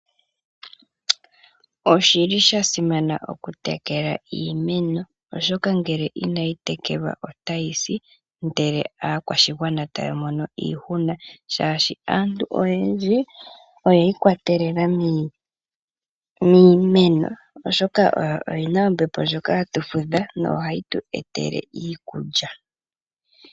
Osha simana okutekela iimeno oshoka ngele inayi tekelwa otayi si, ndele aakwashigwana taya momo iihuna shashi aantu oyendji oyiikwatelela miimeno oshoka oyo yina oombepo ndyoka hatu fudha yo ohayi tu etele iikulya.